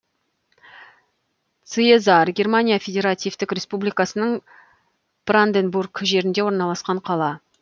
циезар германия федеративтік республикасының бранденбург жерінде орналасқан қала